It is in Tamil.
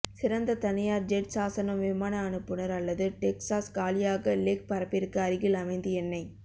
சிறந்த தனியார் ஜெட் சாசனம் விமான அனுப்புநர் அல்லது டெக்சாஸ் காலியாக லெக் பரப்பிற்கு அருகில் அமைந்து என்னை